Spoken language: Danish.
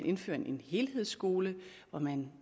indfører en helhedsskole hvor man